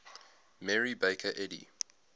mary baker eddy